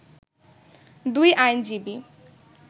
দুই আইনজীবী